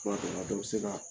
tuma dɔ la denmisɛnninya